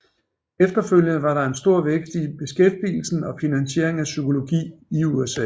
Efterfølgende var der en stor vækst i beskæftigelsen og finansiering af psykologi i USA